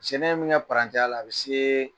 Tiɲɛna min kɛ j la a bɛ se